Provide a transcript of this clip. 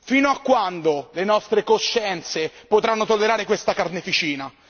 Fino a quando le nostre coscienze potranno tollerare questa carneficina?